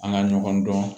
An ka ɲɔgɔn dɔn